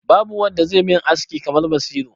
Babu wanda zai min aski kamar Basiru.